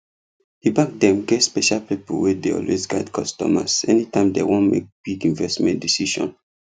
the bank dem get special people wey dey always guide customers anytime dem wan make big investment decision